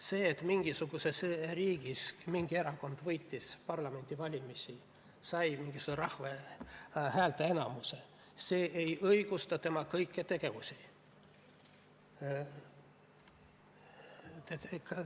See, et mingisuguses riigis mingi erakond võitis parlamendivalimised, sai rahvalt mingisuguse häälteenamuse, ei õigusta tema kõiki tegevusi.